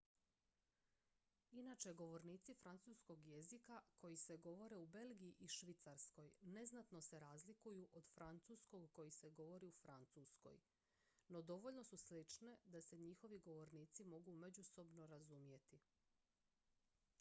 inačice francuskog jezika koje se govore u belgiji i švicarskoj neznatno se razlikuju od francuskog koji se govori u francuskoj no dovoljno su slične da se njihovi govornici mogu međusobno razumjeti